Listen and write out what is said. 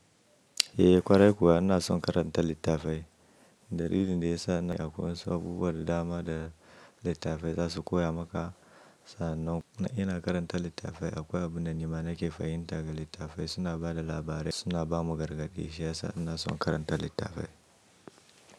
Eh ƙwarai kuwa ina son karanta littafai. Dalilin da ya sa ne akwai saboda dama da littafai za su koya maka. Sa annan ina karanta littafai akwai abunda nima nake fahimta daga littafai suna ba da labarai suna ba mu gargade. Shiyasa ina son karanta littafai.